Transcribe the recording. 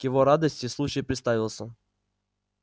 к его радости случай представился